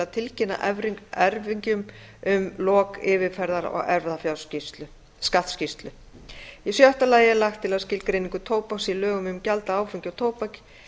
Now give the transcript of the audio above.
að tilkynna erfingjum um lok yfirferðar á erfðafjárskattsskýrslu í sjötta lagi er lagt til að skilgreiningu tóbaks í lögum um gjald af áfengi og